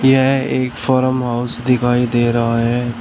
यह एक farm house दिखाई दे रहा है।